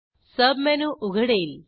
submenu उघडेल